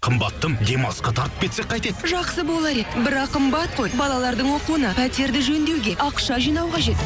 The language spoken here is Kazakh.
қымбаттым демалысқа тартып кетсек қайтеді жақсы болар еді бірақ қымбат қой балалардың оқуына пәтерді жөндеуге ақша жинау қажет